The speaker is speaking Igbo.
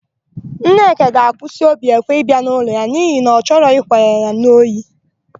Nneka ga-akwụsị Obiekwe ịbịa n'ụlọ ha n'ihi na ọ chọrọ ịkwanye ya n'ohi.